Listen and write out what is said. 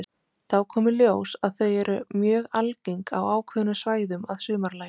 Þá kom í ljós að þau eru mjög algeng á ákveðnum svæðum að sumarlagi.